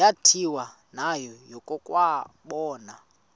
yathi nayo yakuwabona